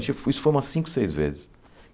Isso foi umas cinco, seis vezes.